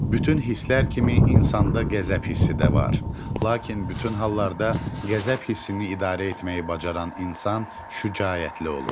Bütün hisslər kimi insanda qəzəb hissi də var, lakin bütün hallarda qəzəb hissini idarə etməyi bacaran insan şücaətli olur.